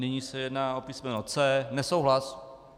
Nyní se jedná o písmeno C - nesouhlas.